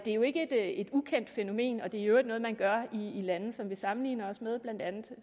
er jo ikke et ukendt fænomen og det er i øvrigt noget man gør i lande som vi sammenligner os med blandt andet